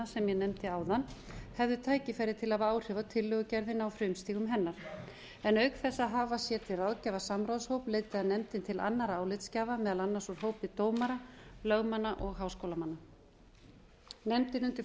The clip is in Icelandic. sem ég nefndi áðan hefðu tækifæri til að hafa áhrif á tillögugerðina á frumstigum hennar auk þess að hafa sér til ráðgjafar samráðshóp leitaði nefndin til annarra álitsgjafa meðal annars úr hópi dómara lögmanna og háskólamanna nefndin undir